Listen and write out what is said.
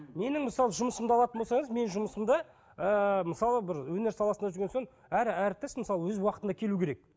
менің мысалы жұмысымды алатын болсаңыз мен жұмысымды ыыы мысалы бір өнер саласында жүрген соң әр әртіс мысалы өз уақытында келуі керек